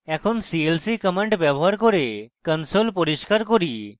এখন clc command ব্যবহার করে console পরিষ্কার করি